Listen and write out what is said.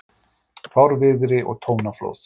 Fárviðri og tónaflóð